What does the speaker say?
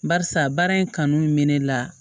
Barisa baara in kanu mɛ ne la